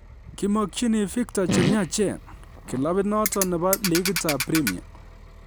"Kimmokyini Victor chemwachen," kilabit noton nebo ligitab Premia